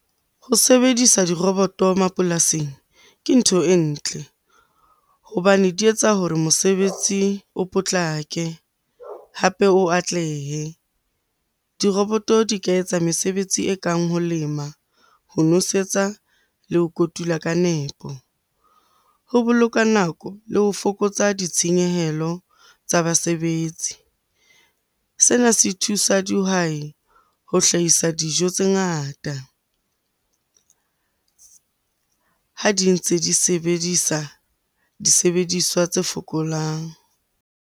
Ho sebedisa diroboto mapolasing, ke ntho e ntle hobane di etsa hore mosebetsi o potlake hape o atlehe. Diroboto di ka etsa mesebetsi e kang ho lema, ho nosetsa le ho kotula ka nepo. Ho boloka nako le ho fokotsa ditshenyehelo tsa basebetsi. Sena se thusa dihwai ho hlahisa dijo tse ngata ha di ntse di sebedisa disebediswa tse fokolang.